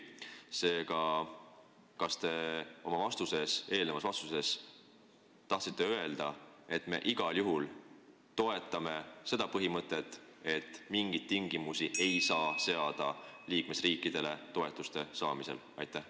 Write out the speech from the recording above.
Seega, kas te tahtsite oma eelmise vastusega öelda, et me igal juhul toetame seda põhimõtet, et liikmesriikidele ei saa seada mingeid tingimusi toetuste saamiseks?